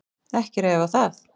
Ekki er að efa það.